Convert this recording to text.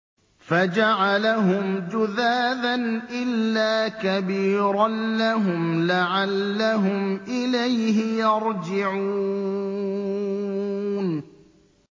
فَجَعَلَهُمْ جُذَاذًا إِلَّا كَبِيرًا لَّهُمْ لَعَلَّهُمْ إِلَيْهِ يَرْجِعُونَ